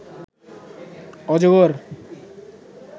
অজগর